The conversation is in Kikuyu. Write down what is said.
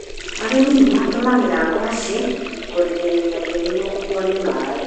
Arĩmi nĩ matũmĩraga ngwacĩ kũrigĩrĩria tĩĩri gukuo nĩ maaĩ.